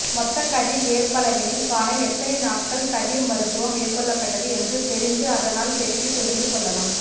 மொத்த கதிர் ஏற்பளவினைக் காண எத்தனை நாட்கள் கதிர் மருத்துவம் மேற்கொள்ளப்பட்டது என்று தெரிந்து அதனால் பெருக்கி தெரிந்து கொள்ளலாம்